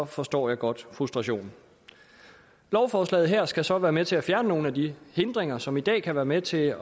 forstår jeg godt frustrationen lovforslaget her skal så være med til at fjerne nogle af de hindringer som i dag kan være med til at